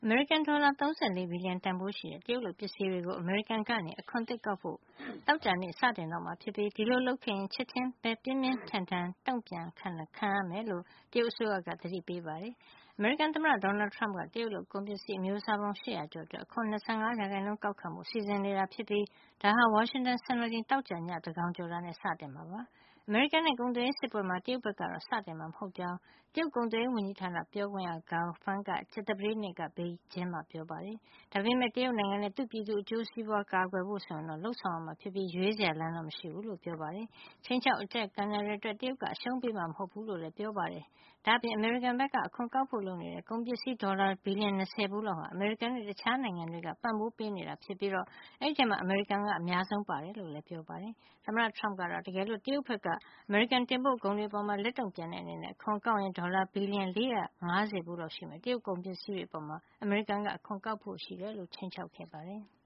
မေရိကန် ဒေါ်လာ ၃၄ ဘီလျံတန်ဖိုးရှိတဲ့ တရုတ်လုပ်ပစ္စည်းတွေကို အမေရိကန်က အခွန်သစ်ကောက်ခံဖို့ သောကြာနေ့မှာ စတင်တော့မှာ ဖြစ်ပြီး ဒီလို လုပ်ခဲ့ရင် ချက်ချင်း ပြင်းပြင်းထန်ထန် တုန့်ပြန်တာ ခံရမယ်လို့ တရုတ်အစိုးရက သတိပေးနေပါတယ်။ အမေရိကန်သမ္မတ Donald Trump က တရုတ်လုပ် ကုန်ပစ္စည်း အမျိုးစားပေါင်း ၈၀၀ ကျော်အတွက် အခွန် ၂၅ % ကောက်ခံဖို့ စီစဉ်နေတာဖြစ်ပြီး ဒါဟာ ဝါရှင်တန်စံတော်ချိန် သောကြာနေ့ ည သန်းကောင်းယံကျော်တာနဲ့ စတင်မှာ ဖြစ်ပါတယ်။ အမေရိကန်နဲ့ ကုန်သွယ်ရေး စစ်ပွဲမှာ တရုတ်ဘက်က စတင်မှာတော့ မဟုတ်ကြောင်း တရုတ် ကုန်သွယ်ရေးဝန်ကြီးဌာန ပြောခွင့်ရ Gao Feng က ကြာသပတေးနေ့က ဘေကျင်းမှာ ပြောကြားခဲ့ပါတယ်။ ဒါပေမယ့် တရုတ်နိုင်ငံနဲ့ သူ့ပြည်သူ အကျိုးစီးပွါးကို ကာကွယ်ဖို့ အတွက် ဆိုရင်တော့ လုပ်ဆောင်ရမှာ ဖြစ်ပြီး ရွေးစရာလမ်းမရှိဘူးလို့ ပြောပါတယ်။ ခြိမ်းခြောက် အကြပ်ကိုင်တာတွေအတွက် တရုတ်က အရှုံးပေးမှာ မဟုတ်ဖူးလို့လည်း Gao ကပြောပါတယ်။ ဒါ့အပြင် အမေရိကန်က အခွန်ကောက်ဖို့ လုပ်နေတဲ့ ကုန်ပစ္စည်း ဒေါ်လာ ဘီလျံ ၂၀ ဖိုးလောက်ဟာ အမေရိကန်နဲ့ တခြား နိုင်ငံတွေက ပံ့ပိုးပေးနေတာတွေ ဖြစ်ပြီး အဲဒီထဲမှာ အမေရိကန်က အများဆုံး ပါဝင်တယ်လို့လည်းပြောပါတယ်။ သမ္မတ Trump က တော့ တကယ်လို့ တရုတ်ဘက်က အမေရိကန်တင်ပို့ကုန်တွေအပေါ် လက်တုန့်ပြန်တဲ့ အနေနဲ့ အခွန်ကောက်ရင် ဒေါ်လာ ဘီလျံ ၄၅၀ ဖိုးလောက်ရှိမယ့် တရုတ်ကုန်ပစ္စည်းတွေ အပေါ် အမေရိကန်က အခွန်ကောက်ဖို့ ရှိတယ်လို့ ခြိမ်းခြောက်ခဲ့ပါတယ်။